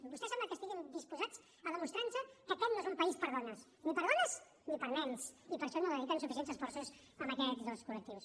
vostès sembla que estiguin disposats a demostrar nos que aquest no és un país per a dones ni per a dones ni per a nens i per això no dediquen suficients esforços a aquests dos col·lectius